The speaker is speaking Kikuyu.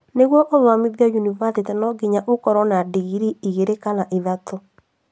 Nĩguo ũthomithie yunibathĩtĩ nonginya ũkorwo na ndingirii igiri kana ithatũ